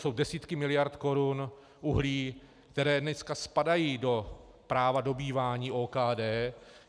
Jsou desítky miliard korun uhlí (?), které dneska spadají do práva dobývání OKD.